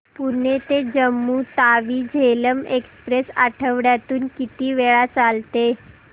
पुणे ते जम्मू तावी झेलम एक्स्प्रेस आठवड्यातून किती वेळा चालते